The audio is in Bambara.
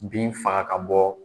Bin faga ka bɔ